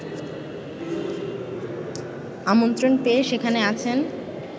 আমন্ত্রণ পেয়ে সেখানে আছেন